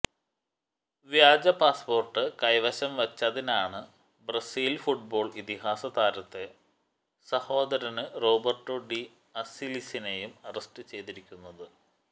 വ്യാജ പാസ്പോര്ട്ട് കൈവശം വെച്ചതിനാണ് ബ്രസീല് ഫുട്ബോള് ഇതിഹാസ താരത്തെ സഹോദരന് റോബര്ട്ടോ ഡി അസ്സിസിനേയും അറസ്റ്റ് ചെയ്തിരിക്കുന്നത്